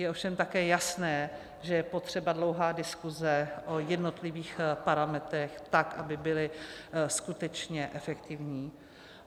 Je ovšem také jasné, že je potřeba dlouhá diskuse o jednotlivých parametrech, tak aby byly skutečně efektivní.